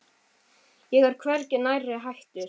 Ég er hvergi nærri hættur.